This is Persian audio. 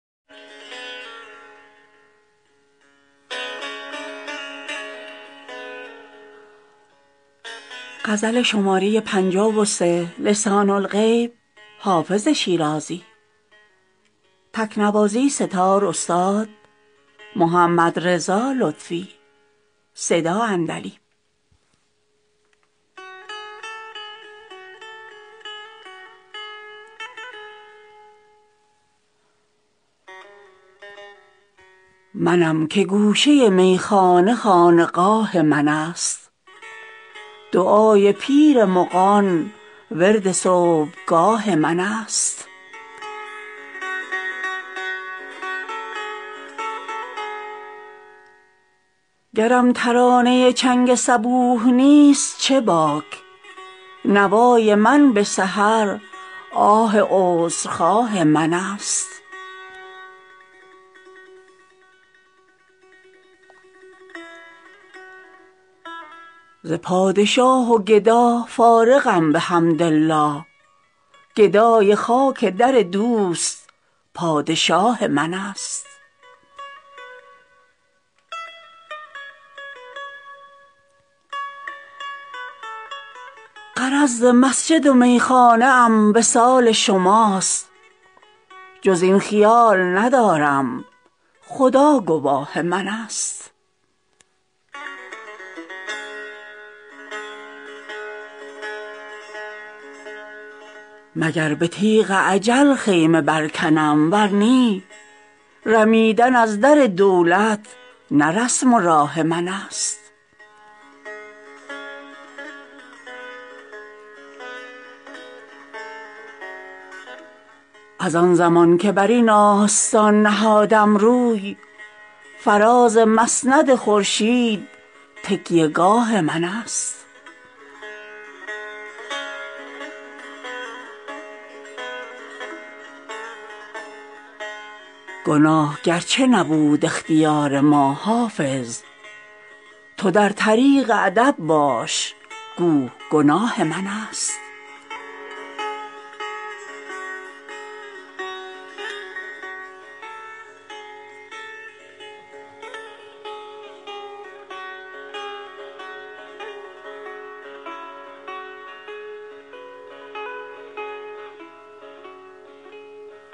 منم که گوشه میخانه خانقاه من است دعای پیر مغان ورد صبحگاه من است گرم ترانه چنگ صبوح نیست چه باک نوای من به سحر آه عذرخواه من است ز پادشاه و گدا فارغم بحمدالله گدای خاک در دوست پادشاه من است غرض ز مسجد و میخانه ام وصال شماست جز این خیال ندارم خدا گواه من است مگر به تیغ اجل خیمه برکنم ور نی رمیدن از در دولت نه رسم و راه من است از آن زمان که بر این آستان نهادم روی فراز مسند خورشید تکیه گاه من است گناه اگرچه نبود اختیار ما حافظ تو در طریق ادب باش گو گناه من است